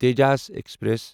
Tejas express